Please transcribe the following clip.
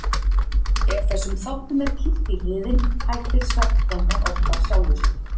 Ef þessum þáttum er kippt í liðinn hættir svefngangan oft af sjálfu sér.